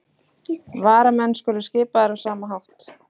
Varamenn skulu skipaðir á sama hátt